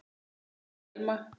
Margrét Thelma.